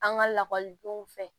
An ka lakɔlidenw fɛ